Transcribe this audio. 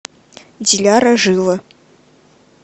диляра жила